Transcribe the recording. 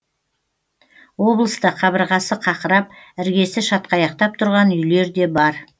облыста қабырғасы қақырап іргесі шатқаяқтап тұрған үйлер де бар